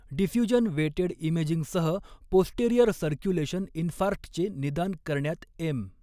Diffusion weighted इमेजिंगसह posterior circulation इन्फार्क्टचे निदान करण्यात एम.